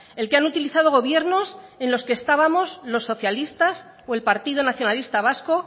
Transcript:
el que han utilizado gobiernos en los que estábamos los socialistas o el partido nacionalista vasco